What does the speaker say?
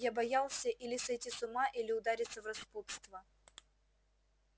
я боялся или сойти с ума или удариться в распутство